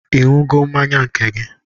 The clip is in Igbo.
Ị ṅụgo mmanya nke gị?